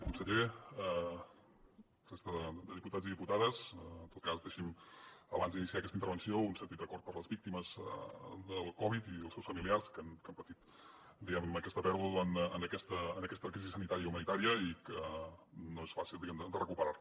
conseller resta de diputats i diputades en tot cas deixi’m abans d’iniciar aquesta intervenció un sentit record per les víctimes del covid i els seus familiars que han patit aquesta pèrdua en aquesta crisi sanitària i humanitària i que no és fàcil diguem ne de recuperar la